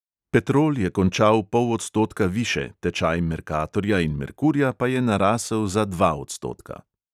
Petrol je končal pol odstotka više, tečaj mercatorja in merkurja pa je narasel za dva odstotka.